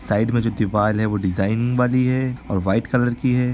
Side में जो दीवाल है वो डिजाईन वाली है और व्हाइट कलर की है।